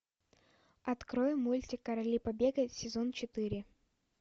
открой мультик короли побега сезон четыре